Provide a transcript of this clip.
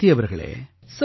ப்ரீதி அவர்களே